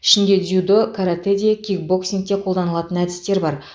ішінде дзюдо каратэ де кикбоксингте қолданылатын әдістер бар